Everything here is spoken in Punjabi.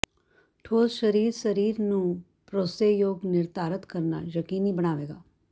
ਠੋਸ ਸਰੀਰ ਸਰੀਰ ਨੂੰ ਭਰੋਸੇਯੋਗ ਨਿਰਧਾਰਤ ਕਰਨਾ ਯਕੀਨੀ ਬਣਾਵੇਗਾ